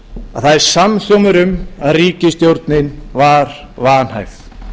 að það er samhljómur um að ríkisstjórnin var vanhæf